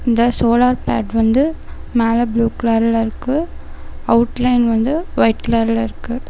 இந்த solar pad வந்து மேல ப்ளூ கலர்ல இருக்கு அவுட்லைன் வந்து ஒய்ட் கலர்ல இருக்கு.